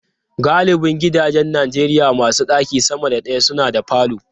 Galibin gidajen Najeriya masu ɗaki sama da daya suna da falo.